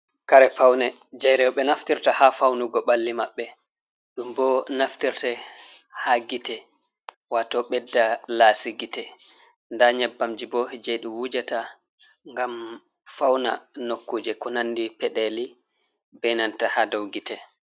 Kare pawne jey rowɓe naftirta, haa fawnugo ɓalli maɓɓe, ɗum bo naftirte haa gite, waato ɓedda laasi gite, ndaa nyebbamji bo jey ɗum wujata, ngam fawna nokkuuje ko nanndi peɗeeli, be nanta haa dow gite.